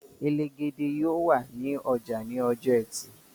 Elegede yóò wà ní ọjà ní ọjọ ẹtì